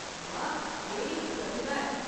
वाह्, एह् इक प्रतिभा ऐ।